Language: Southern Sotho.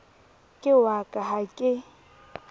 ke wa ka ha ke